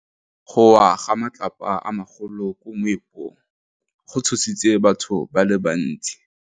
Go wa ga matlapa a magolo ko moepong go tshositse batho ba le bantsi.